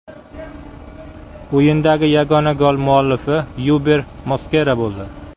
O‘yindagi yagona gol muallifi Yuber Moskera bo‘ldi.